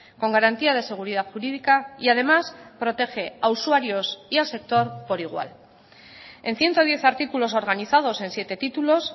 con garantía de seguridad jurídica y además protege a usuarios y al sector por igual en ciento diez artículos organizados en siete títulos